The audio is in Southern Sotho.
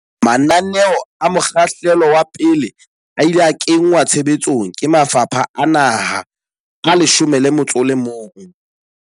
Mananeo a mokgahlelo wa pele a ile a kenngwa tshe betsong ke mafapha a naha a 11.